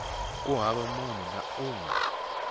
hava munhu na un we